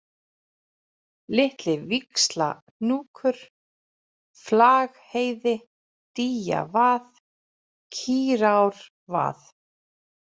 Litli-Víxlahnúkur, Flagheiði, Dýjavað, Kýrárvað